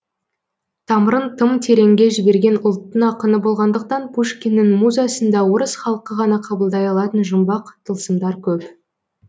тамырын тым тереңге жіберген ұлттың ақыны болғандықтан пушкиннің музасында орыс халқы ғана қабылдай алатын жұмбақ тылсымдар көп